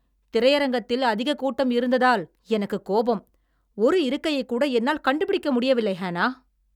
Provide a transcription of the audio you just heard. திரையரங்கத்தில் அதிக கூட்டம் இருந்ததால் எனக்குக் கோபம். ஒரு இருக்கையைக்கூட என்னால் கண்டு பிடிக்க முடியவில்லை, ஹேனா